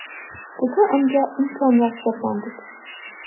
Bugun unga imkoniyat bergandik.